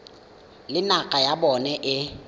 le naga ya bona e